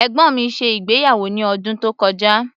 Ẹ̀gbọ́n mi ṣe ìgbéyàwó ní ọdún tó kọjá.